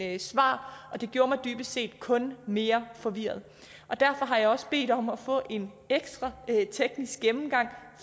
end svar og det gjorde mig dybest set kun mere forvirret derfor har jeg også bedt om at få en ekstra teknisk gennemgang